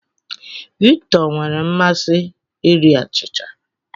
Victor nwere mmasị iri achịcha.